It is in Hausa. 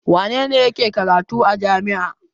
Wane ne yake karatu a jami'a?